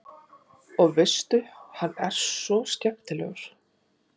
Og veistu hvað, hann er svo skemmtilegur.